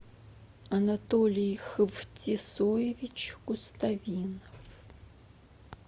анатолий хвтисоевич куставинов